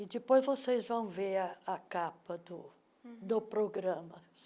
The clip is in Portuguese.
E depois vocês vão ver a a capa do uhum do programa.